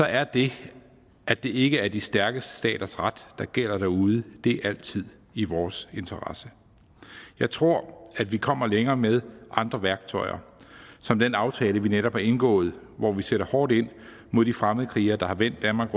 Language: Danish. er det at det ikke er de stærkeste staters ret der gælder derude altid i vores interesse jeg tror at vi kommer længere med andre værktøjer som den aftale vi netop har indgået hvor vi sætter hårdt ind mod de fremmedkrigere der har vendt danmark